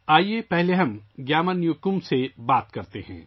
آئیے پہلے گیامر نیوکُم سے بات کرتے ہیں